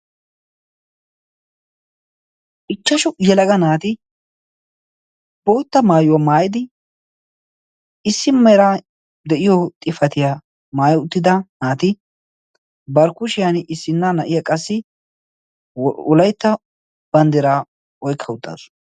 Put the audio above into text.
Ichashshu yelaga naati bootta maayuwaa maayyid issi mala xifaatiya maayyi uttida naati bari kushiyaan issina na'iyaa wolaytta banddira oykka uttasu.